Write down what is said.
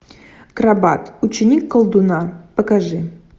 крабат ученик колдуна покажи